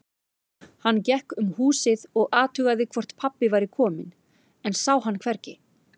Hann gekk um húsið og athugaði hvort pabbi væri kominn, en sá hann hvergi.